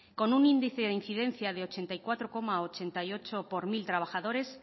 con un índice de incidencia de ochenta y cuatro coma ochenta y ocho por mil trabajadores